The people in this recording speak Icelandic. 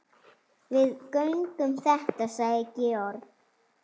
Við göngum þetta sagði Georg.